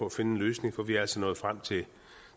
at finde en løsning for vi er altså nået frem til